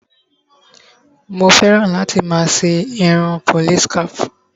Mo fẹ́ràn láti máa ṣe irun police cap.